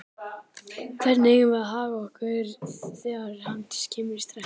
Hvernig eigum við að haga okkur þegar upp kemur stress?